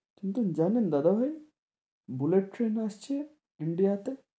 কিন্তু জানেন দাদাভাই, বুলেট ট্রেন আসছে ইন্ডিয়া তে,